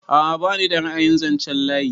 A'a bani da ra'ayin zanchen layi.